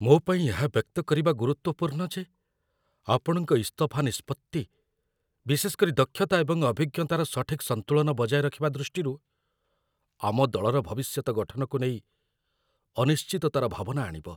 ମୋ ପାଇଁ ଏହା ବ୍ୟକ୍ତ କରିବା ଗୁରୁତ୍ୱପୂର୍ଣ୍ଣ ଯେ ଆପଣଙ୍କ ଇସ୍ତଫା ନିଷ୍ପତ୍ତି, ବିଶେଷ କରି ଦକ୍ଷତା ଏବଂ ଅଭିଜ୍ଞତାର ସଠିକ୍ ସନ୍ତୁଳନ ବଜାୟ ରଖିବା ଦୃଷ୍ଟିରୁ, ଆମ ଦଳର ଭବିଷ୍ୟତ ଗଠନକୁ ନେଇ ଅନିଶ୍ଚିତତାର ଭାବନା ଆଣିବ।